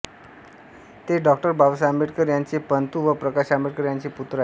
ते डॉ बाबासाहेब आंबेडकर यांचे पणतू व प्रकाश आंबेडकर यांचे पुत्र आहेत